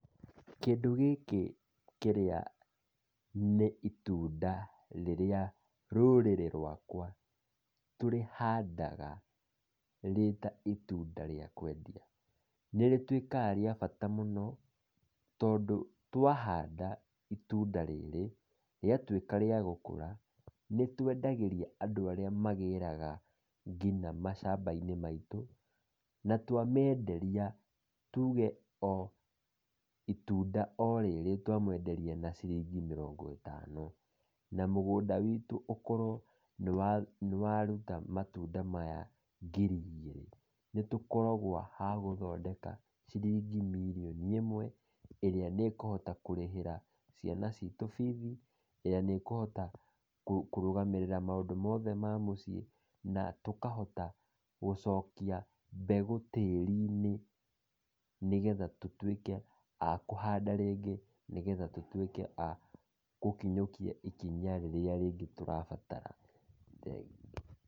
Kĩndũ gĩkĩ kĩrĩa nĩ itunda rĩrĩa rũrĩrĩ rwakwa tũrĩhandaga rĩta itunda rĩa kwendia, nĩ rĩtuĩkaga rĩa bata mũno tondũ twahanda itunda rĩrĩ, rĩatuĩka rĩa gũkũra nĩ twendagĩria andũ arĩa magĩraga nginya macamba-inĩ maitũ, na twa menderia tũge o itunda o rĩrĩ twa menderia na ciringi mĩrongo ĩtano , na mũgũnda witũ ũkorwo nĩ waruta matunda maya ngiri igĩrĩ, nĩtũkoragwo agũthondeka ciringi mirioni ĩmwe, ĩrĩa nĩ ĩkũhota kũrĩhĩra ciana citũ bithi, na nĩkũhota kũrũgamĩrĩra maũndũ mothe ma mũciĩ, na tũkahota gũcokia mbegũ tĩri-inĩ, nĩgetha tũtuĩke akũhanda rĩngĩ, nĩgetha tũtuĩke agũkinyũkia ikinya rĩrĩa rĩngĩ tũrabatara, thengiũ.